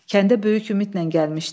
Kəndə böyük ümidlə gəlmişdi.